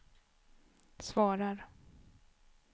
svarar